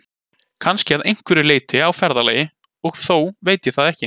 Kannski að einhverju leyti á ferðalagi, og þó veit ég það ekki.